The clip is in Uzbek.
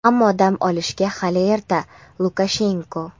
ammo dam olishga hali erta – Lukashenko.